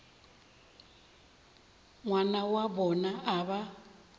ngwana wa bona a ba